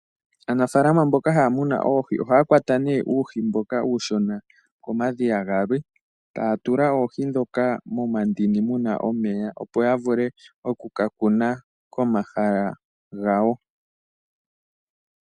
Aanafalama mboka haya muna oohi ohaya kwata ne uuhi mboka uushona komadhiya galwe, taya tula oohi dhoka momandini mu na omeya opo ya vule oku ka kuna komahala gawo.